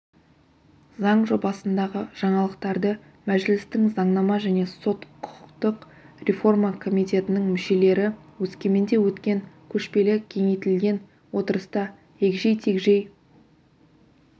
заң жобасындағы жаңалықтарды мәжілістің заңнама және сот-құқықтық реформа комитетінің мүшелері өскеменде өткен көшпелі кеңейтілген отырыста егжей-тегжей